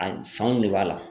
A fanw ne b'a la.